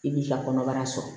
I b'i ka kɔnɔbara sɔrɔ